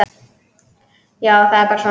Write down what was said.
Já, það er bara svona.